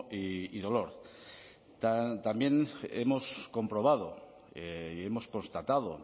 y dolor también hemos comprobado y hemos constatado